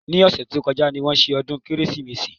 Ní ọ̀sẹ̀ tó kọjá ni wọ́n ṣe ọdún Kérésìmesì